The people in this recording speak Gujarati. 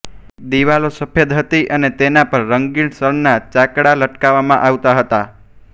દિવાલો સફેદ હતી અને તેના પર રંગીન શણના ચાકળા લટકાવવામાં આવતાં હતાં